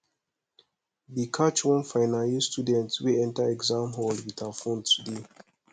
dey catch one final year student wey enter exam hall with her phone today